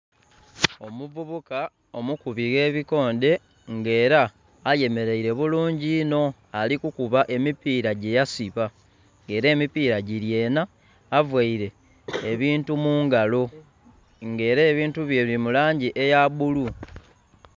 Omuvubuka omukubi gh'ebikoonde nga era ayemeleile bulungi inho alikukuba emipiira gyeyasiba. Nga era emipiira gili enha availe ebintu mu ngalo nga era ebintu bye bili mu langi eya bulu